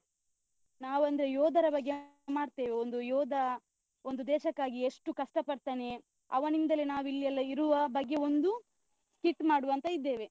ನಾವ್ ಒಂದು ಯೋಧರ ಬಗ್ಗೆ ಮಾಡ್ತೇವೆ. ಒಂದು ಯೋಧ ಒಂದು ದೇಶಕ್ಕಾಗಿ ಎಷ್ಟು ಕಷ್ಟ ಪಡ್ತಾನೆ, ಅವನಿಂದಲೆ ನಾವ್ ಇಲ್ಲಿ ಎಲ್ಲ ಇರುವ ಬಗ್ಗೆ ಒಂದು skit ಮಾಡುವ ಅಂತ ಇದ್ದೇವೆ.